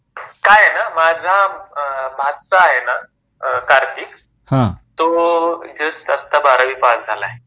काय आहे ना माझा अ भाचा आहे ना अ कार्तिक हां तो जस्ट आता बारावी पास झाला आहे